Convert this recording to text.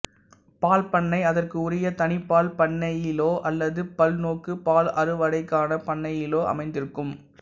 பால் பண்ணை அதற்கு உரிய தனிப் பால் பண்ணையிலோ அல்லது பல்நோக்குப் பால் அறுவடைக்கான பண்ணையிலோ அமைந்திருக்கும்